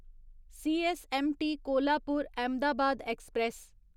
CSMT Kolhapur Ahmedabad express